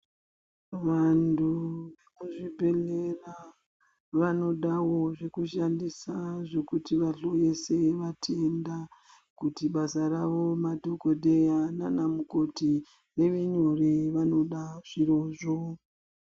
Vantu vekuzvibhedhlera vanodawo zvekushandisa zvekuti vahloyese vatenda, kuti basa ravo madhokodheya naanamukoti, rive nyore, vanoda zvirozvo.